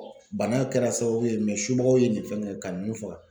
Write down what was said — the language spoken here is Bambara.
Bana kɛra sababu ye subagaw ye nin fɛn kɛ kano fɔ.